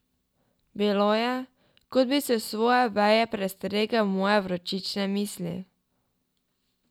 Bilo je, kot bi s svoje veje prestregel moje vročične misli!